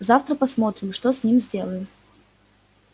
завтра посмотрим что с ним сделаем